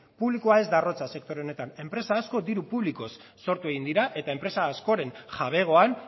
publikoa ez da arrotza sektore honetan enpresa asko diru publikoz sortu egin dira eta enpresa askoren jabegoan